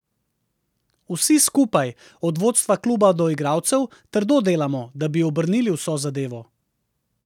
Vsi skupaj, od vodstva kluba do igralcev, trdo delamo, da bi obrnili vso zadevo.